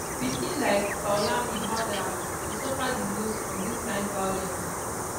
pikin like poulami halder dey suffer di most from dis kind violence